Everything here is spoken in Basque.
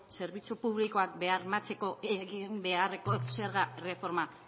zerbitzu publikoak bermatzeko egin beharreko zerga erreforma